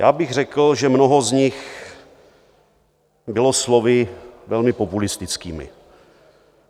Já bych řekl, že mnoho z nich bylo slovy velmi populistickými.